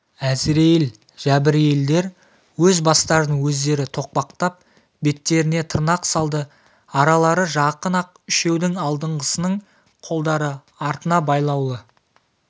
әзірейіл жәбірейілдер өз бастарын өздері тоқпақтап беттеріне тырнақ салды аралары жақын-ақ үшеудің алдынғысының қолдары артына байлаулы